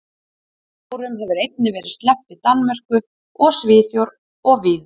Bjórum hefur einnig verið sleppt í Danmörku og Svíþjóð og víðar.